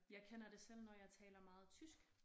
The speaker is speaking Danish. Jeg kender det selv når jeg taler meget tysk